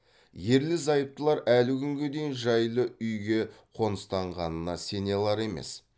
ерлі зайыптылар әлі күнге дейін жайлы үйге қоныстанғанына сене алар емес